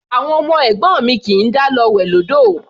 Àwọn ọmọ ẹ̀gbọ́n mi kì í dá lọ wẹ̀ lódò.